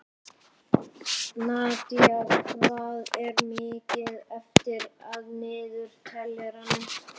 Nadía, hvað er mikið eftir af niðurteljaranum?